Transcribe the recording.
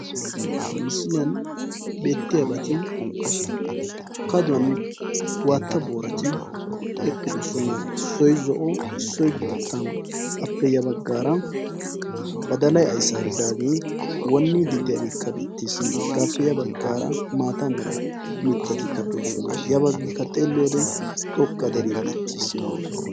Ha misiliyaan beettiyaabati kaaduwaan waatta boorati eqqidosona. issoy zo'o issoy boottaa. appe ya baggaara badalay ayssaaridagee wonniidi de'iyaagekka beettees. hegaappe ya baggaara maata mera mittatikka de'oosona. ya baggikka xelliyoo wode xoqqa deree betteesi.